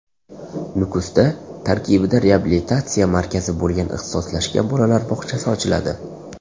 Nukusda tarkibida reabilitatsiya markazi bo‘lgan ixtisoslashgan bolalar bog‘chasi ochiladi.